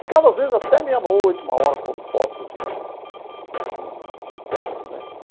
Ficava, às vezes, até meia-noite, uma hora, pondo fotos em em quadros né.